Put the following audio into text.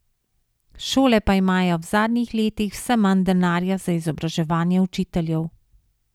Šole pa imajo v zadnjih letih vse manj denarja za izobraževanje učiteljev.